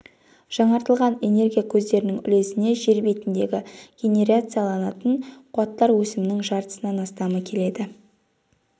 жаңартылатын энергия көздерінің үлесіне жер бетіндегі генерацияланатын қуаттар өсімінің жартысынан астамы келеді